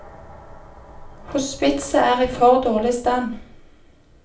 Hospitset er i for dårlig stand.